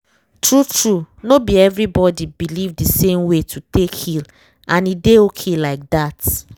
true true no be everybody believe the same way to take heal—and e dey okay like that